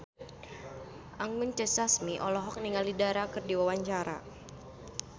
Anggun C. Sasmi olohok ningali Dara keur diwawancara